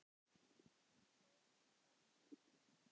Hann stóð með ömmu sinni.